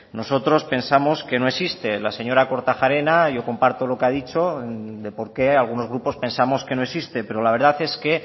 nosotros pensamos que no existe la señora kortajarena yo comparto lo que ha dicho de por qué algunos grupos pensamos que no existe pero la verdad es que